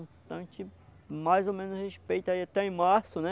Então a gente mais ou menos respeita aí até em março, né?